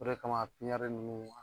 O de kama ninnu